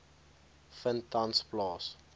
vind tans plaas